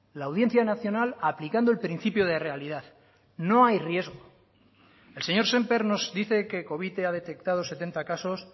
la audiencia nacional aplicando el principio de realidad no hay riesgo el señor sémper nos dice que covite ha detectado setenta casos